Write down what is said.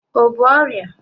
O bu ọrịa?